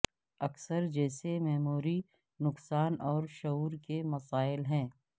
اکثر جیسے میموری نقصان اور شعور کے مسائل ہیں